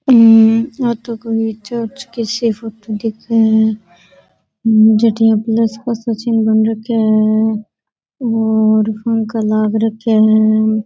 आ तो कोई चर्च की सी फोटो दिखे है जठ इया प्लस का सा चिन्ह बन रखा है और पंखा लाग रखे है।